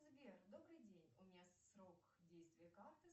сбер добрый день у меня срок действия карты